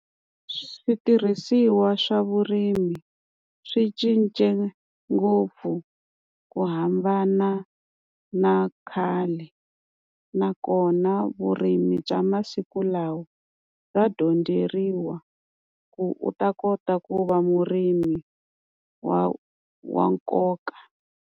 Switirhisiwa swa vurimi swi cince ngopfu ku hambana na khale. Nakona vurimi bya masiku lawa bya dyondzeriwa ku u ta kota ku va murimi wa wa nkoka.